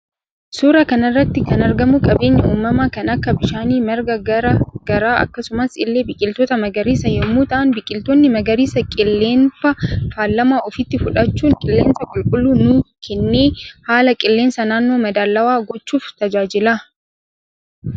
Suuraa kanarratti kan argamu qabeenya uumama kan Akka bishaanii marga garaa garaa akkasumas illee biqiiltoota magariisa yommuu ta'an biqiltoonni magariisa qilleenfa faalama ofitti fudhachuun qillensa qulqullu nu kenne haala qillensa nanno madaalawa gochuuf tajaajila